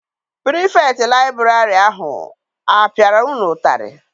Pirifetktị liburary ahụ a piara unu ụtarị?